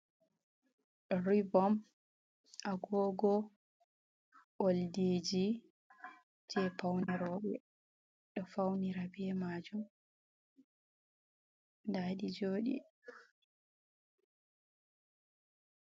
Ribom, agogo, oldiji, jei paune rooɓe ɗo faunira be maajum, nda ɗi jooɗi.